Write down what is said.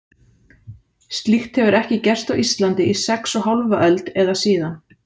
Slíkt hefur ekki gerst á Íslandi í sex og hálfa öld, eða síðan